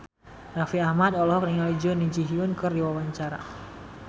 Raffi Ahmad olohok ningali Jun Ji Hyun keur diwawancara